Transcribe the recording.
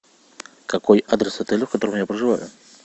какой адрес отеля в котором я проживаю